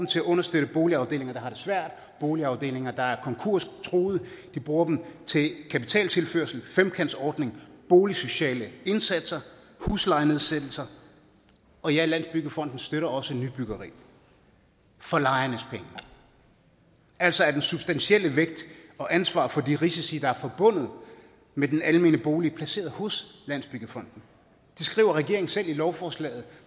til at understøtte boligafdelinger der har det svært boligafdelinger der er konkurstruede de bruger dem til kapitaltilførsel femkantsordning boligsociale indsatser huslejenedsættelser og ja landsbyggefondens støtter også nybyggeri for lejernes penge altså er den substantielle vægt og ansvaret for de risici der er forbundet med den almene bolig placeret hos landsbyggefonden det skriver regeringen selv i lovforslaget